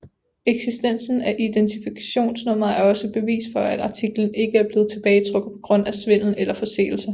Eksistensen af identifikationsnummeret er også bevis for at artiklen ikke er blevet tilbagetrukket på grund af svindel eller forseelser